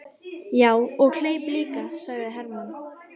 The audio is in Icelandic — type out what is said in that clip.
Já, og hleyp líka, sagði Hermann.